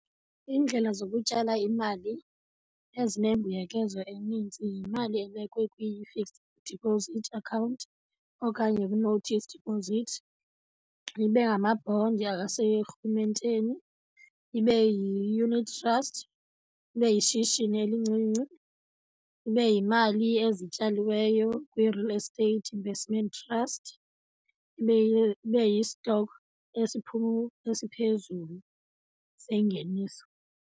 Iindlela zokutyala imali ezinembuyekezo eninzi yimali ebekwe kwi-fixed deposit account okanye kwi-notice deposit, ibe ngamabhondi aserhumenteni, ibe yi-unit trust, ibe yishishini elincinci, ibe yimali ezityaliweyo kwi-real estate investment trust, ibe , ibe yi-stock esiphezulu sengeniso.